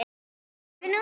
Sérðu nú?